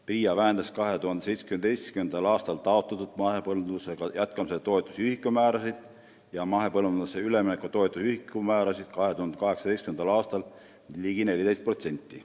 PRIA vähendas 2017. aastal taotletud mahepõllumajandusega jätkamise toetuse ühikumäärasid ja mahepõllumajandusele ülemineku toetuse ühikumäärasid 2018. aastal ligi 14%.